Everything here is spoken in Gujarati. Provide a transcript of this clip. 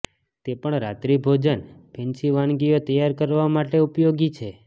તે પણ રાત્રિભોજન ફેન્સી વાનગીઓ તૈયાર કરવા માટે ઉપયોગી છે